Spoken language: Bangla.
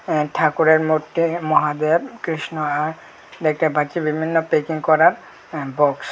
এ্যাঁ ঠাকুরের মূর্তি মহাদেব কৃষ্ণ আর দেখতে পাচ্ছি বিভিন্ন প্যাকিং করার আ বক্স ।